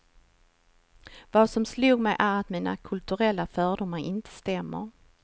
Vad som slog mig är att mina kulturella fördomar inte stämmer.